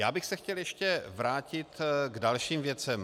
Já bych se chtěl ještě vrátit k dalším věcem.